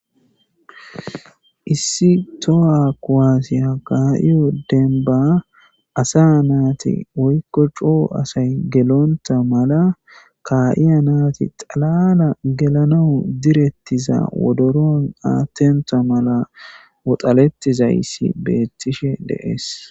Issi towa kuwasiya ka'iyo demba asa nati woyko CO asay gelonta mala ka'iya naati xalala gelanawu diretiza wodoroni adhonta mala woxaletizayasi beetishe de'es.